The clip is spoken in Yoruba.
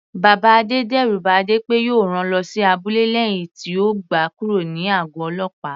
Bàbá Adé d'ẹru ba Adé pé òun yóò rán lọ sí abúlé lẹ́hìn tí ó gba kúrò ní àgọ̀ ọlọ́pàá.